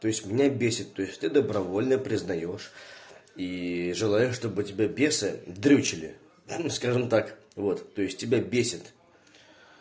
то есть меня бесит то есть ты добровольно признаёшь и желаешь чтобы тебя бесы дрючили хи-хи скажем так вот то есть тебя бесит